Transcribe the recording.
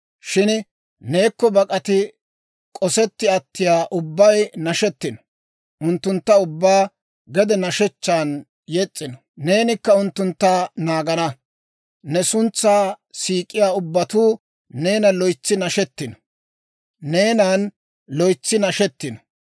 Shin neekko bak'ati k'osetti attiyaa ubbay nashetino; unttunttu ubbaa gede nashshechchan yes's'ino. Neenikka unttuntta naagana; ne suntsaa siik'iyaa ubbatuu neenan loytsi nashetino.